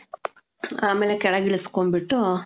ಆಮೇಲೆ ಕೆಳಗ್ ಇಳಿಸ್ಕೊಂಡ್ಬಿಟ್ಟು